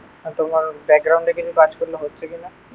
তোমার ব্যাকগ্রাউন্ডে কিন্তু কাজ করলে হচ্ছে কিনা